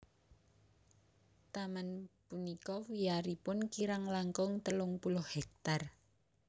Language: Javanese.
Taman punika wiyaripun kirang langkung telung puluh hektar